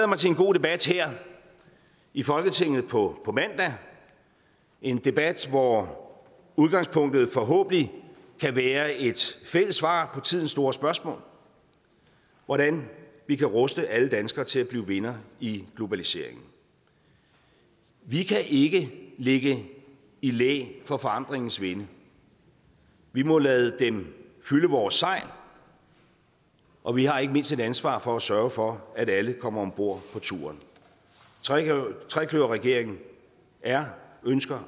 mig til en god debat her i folketinget på på mandag en debat hvor udgangspunktet forhåbentlig kan være et fælles svar på tidens store spørgsmål hvordan vi kan ruste alle danskere til at blive vindere i globaliseringen vi kan ikke ligge i læ for forandringens vinde vi må lade den fylde vores sejl og vi har ikke mindst et ansvar for at sørge for at alle kommer om bord på turen trekløverregeringen er og ønsker